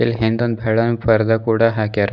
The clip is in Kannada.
ಹಿಂದೊಂದ್ ಬೆಳ್ಳನ್ ಪರ್ದ ಕೂಡ ಹಾಕ್ಯಾರ.